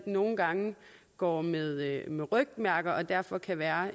nogle gange går med med rygmærker og derfor kan være